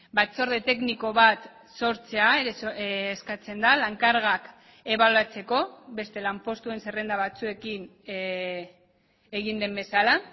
batzorde tekniko bat sortzea eskatzen da lan kargak ebaluatzeko beste lanpostuen zerrenda batzuekin egin den bezala